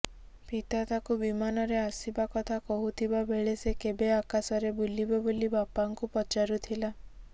ପିତା ତାକୁ ବିମାନରେ ଆସିବା କଥା କହୁଥିବା ବେଳେ ସେ କେବେ ଆକାଶରେ ବୁଲିବ ବୋଲି ବାପାଙ୍କୁ ପଚାରୁଥିଲା